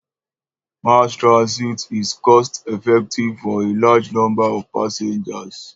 Mass transit is cost-effective for a large number of passengers.